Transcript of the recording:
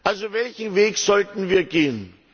Also welchen Weg sollten wir gehen?